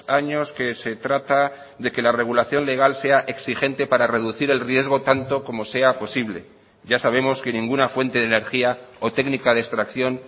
años que se trata de que la regulación legal sea exigente para reducir el riesgo tanto como sea posible ya sabemos que ninguna fuente de energía o técnica de extracción